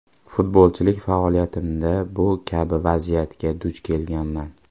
Futbolchilik faoliyatimda bu kabi vaziyatga duch kelganman.